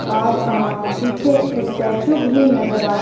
और एक अ पीछे एक स्टेचू भी नज़र आ रहा --